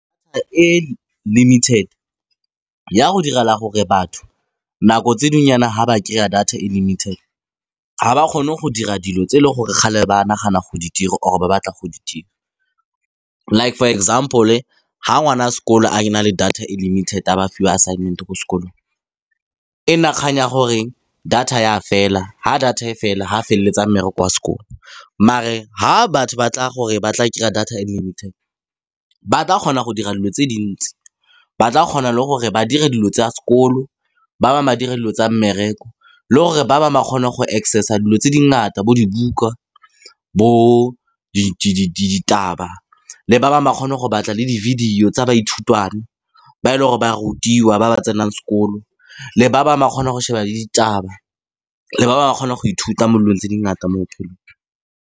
E limited ya go direla gore batho nako tse dingweyana ha ba dira data e limited, ga ba kgone go dira dilo tse e leng gore kgale ba nagana go di dira or ba batla go di dira. Like for example ha ngwana sekolo a na le data e limited a ba fiwa assignment ko sekolong, e nna nkgang ya gore data ya fela ha data e fela ha feleletsa mmereko wa sekolo. Mare ha batho ba tla gore ba tla kry-a data e limited, ba tla kgona go dira dilo tse dintsi. Ba tla kgona le gore ba dira dilo tsa sekolo, ba ba ba dira dilo tsa mmereko, le gore ba ba ba kgone go access a dilo tse dingata bo dibuka, bo di le ditaba, le ba ba ba kgone go batla le di-video tsa baithutwana ba e leng gore ba rutiwa ba ba tsenang sekolo le ba bangwe ba kgona go sheba le ditaba, le ba ba kgona go ithuta mo dilong tse dingata mo bophelong.